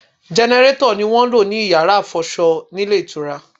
Gẹnẹrétọ̀ ni wọ́n ń lò ní Yàrá ìfọṣọ nílé ìtura.